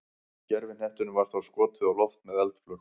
gervihnettinum var þá skotið á loft með eldflaug